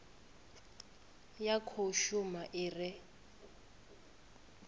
ya khou shuma i re